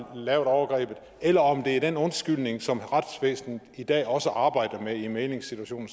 lavet overgrebet eller om det er den undskyldning som retsvæsenet i dag også arbejder med i mæglingssituationer